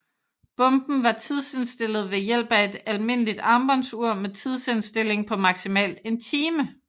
Bomben var tidsindstillet ved hjælp af et almindeligt armbåndsur med tidsindstilling på maksimalt en time